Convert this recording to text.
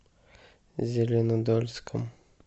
зеленодольском